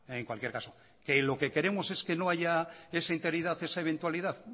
en cualquier caso que lo que queremos es que no haya esa interinidad esa eventualidad